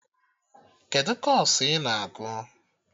Kedụ kọọsụ I na-agụ?